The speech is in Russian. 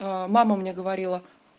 мама мне говорила